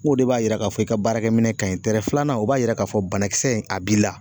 Nko de b'a yira k'a fɔ i ka baarakɛminɛ kaɲi filanan o b'a yira k'a fɔ banakisɛ in a b'i la